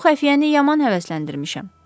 Bu xəfiyyəni yaman həvəsləndirmişəm.